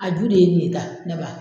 A ju de ye nin ye tan ne ba.